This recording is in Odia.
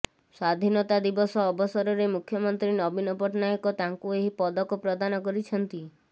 ସ୍ବାଧୀନତା ଦିବସ ଅବସରରେ ମୁଖ୍ୟମନ୍ତ୍ରୀ ନବୀନ ପଟ୍ଟନାୟକ ତାଙ୍କୁ ଏହି ପଦକ ପ୍ରଦାନ କରିଛନ୍ତି